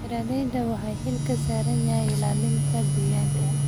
Beeralayda waxa xil ka saaran yahay ilaalinta deegaanka.